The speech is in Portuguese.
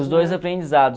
Os dois aprendizados.